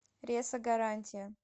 ресо гарантия